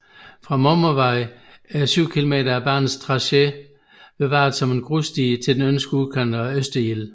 Fra Mommervej er 7 km af banens tracé bevaret som grussti til den østlige udkant af Østerild